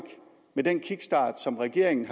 med den kickstart som regeringen